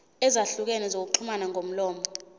ezahlukene zokuxhumana ngomlomo